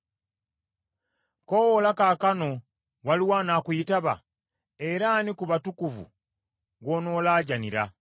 “Koowoola kaakano, waliwo anaakuyitaba? Era ani ku batukuvu gw’onoolaajaanira?